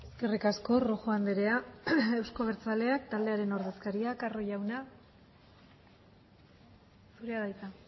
eskerrik asko rojo andrea euzko abertzaleak taldearen ordezkaria carro jauna zurea da hitza